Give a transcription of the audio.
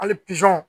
Hali